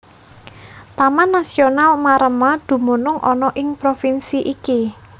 Taman Nasional Maremma dumunung ana ing provinsi iki